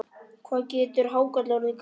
Hvað getur hákarl orðið gamall?